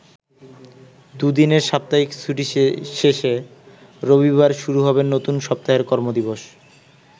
দুদিনের সাপ্তাহিক ছুটি শেষে রবিবার শুরু হবে নতুন সপ্তাহের কর্ম-দিবস।